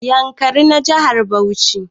Yankari na jihar Bauchi